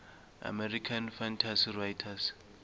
american fantasy writers